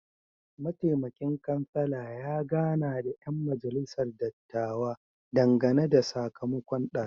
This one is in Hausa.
Mataimakin kansala ya gana da ‘yan majalisar dattawa dangane da sakamakon dalibai.